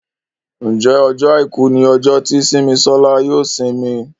Njé Ọjọ́ aìkú ní ojo tí Simisola yóò isimi?